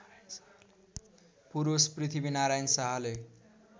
पुरूष पृथ्वीनारायण शाहले